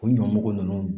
O ɲɔmugu nunnu